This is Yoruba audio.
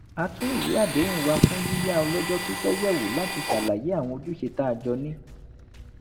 a tún ìwé àdéhùn wa fún yíyá ọlọ́jọ́ pípẹ́ yẹ̀wò láti ṣàlàyé àwọn ojúṣe tá a jọ ní